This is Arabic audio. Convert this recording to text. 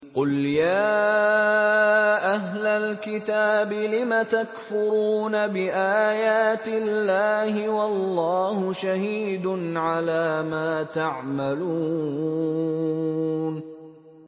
قُلْ يَا أَهْلَ الْكِتَابِ لِمَ تَكْفُرُونَ بِآيَاتِ اللَّهِ وَاللَّهُ شَهِيدٌ عَلَىٰ مَا تَعْمَلُونَ